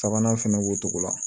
Sabanan fɛnɛ b'o cogo la